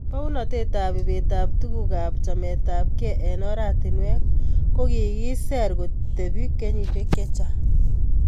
Bounetap ibetap tuguk ak chametabkei eng oratinwek ko kikiser kotebi kenyisiek chechang